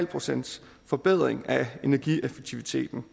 procent forbedring af energieffektiviteten